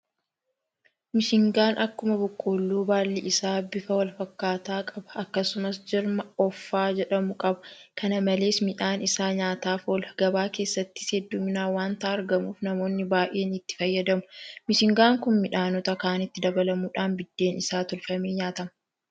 Misingaan akkuma boqqoolloo baalli isaa bifa walfakkaataa qaba. akkasumas jirma offaa jedhamu qaba. kana malees midhaan isaa nyaataaf oola. gabaa keessattis heddumminaan waanta argamuuf namoonni baay'een itti fayyadamu. Misingaan kun midhaanota kaanitti dabalamuudhaan biddeen isaa tolfamee nyaatama.